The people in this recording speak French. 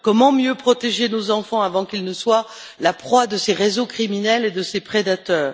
Comment mieux protéger nos enfants avant qu'ils ne soient la proie de ces réseaux criminels et de ces prédateurs?